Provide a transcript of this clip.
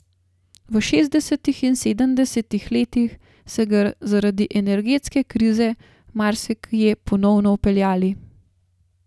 V šestdesetih in sedemdesetih letih se ga zaradi energetske krize marsikje ponovno vpeljali.